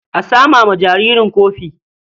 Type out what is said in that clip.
A sama wa jaririn kofi.